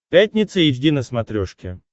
пятница эйч ди на смотрешке